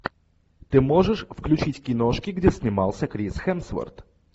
ты можешь включить киношки где снимался крис хемсворт